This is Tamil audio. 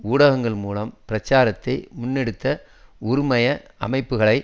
ஊடகங்கள் மூலம் பிரச்சாரத்தை முன்னெடுத்த உறுமய அமைப்புகளை